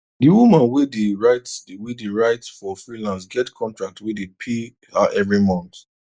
d woman wey dey write wey dey write for freelance get contract wey dey pay her every month